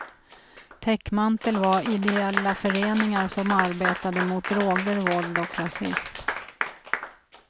Täckmantel var ideella föreningar som arbetade mot droger, våld och rasism.